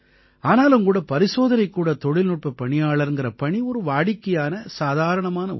ஆனாலும் கூட பரிசோதனைக்கூட தொழில்நுட்பப் பணியாளர்ங்கற பணி ஒரு வாடிக்கையான சாதாரணமான ஒண்ணு